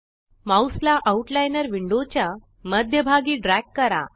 mouse ला outliner window च्या मध्य भागी ड्रॅग करा